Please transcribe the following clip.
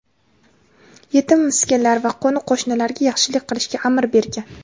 yetim-miskinlar va qo‘ni-qo‘shnilarga yaxshilik qilishga amr etgan.